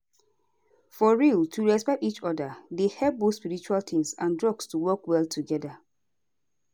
for real to respect each oda dey help both spiritual tins and drugs to work well together